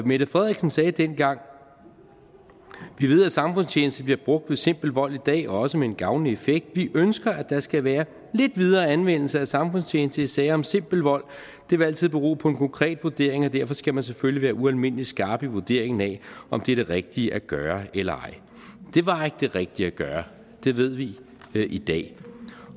mette frederiksen sagde dengang vi ved at samfundstjeneste bliver brugt ved simpel vold i dag og også med en gavnlig effekt og vi ønsker at der skal være lidt videre anvendelse af samfundstjeneste i sager om simpel vold og det vil altid bero på en konkret vurdering og derfor skal man selvfølgelig være ualmindelig skarp i vurderingen af om det er det rigtige at gøre eller ej det var ikke det rigtige at gøre det ved vi i dag